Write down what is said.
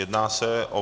Jedná se o